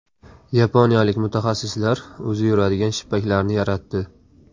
Yaponiyalik mutaxassislar o‘zi yuradigan shippaklarni yaratdi .